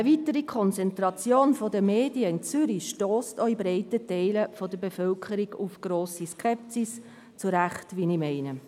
Eine weitere Konzentration der Medien in Zürich stösst auch in breiten Teilen der Bevölkerung auf grosse Skepsis – zu Recht, wie ich meine.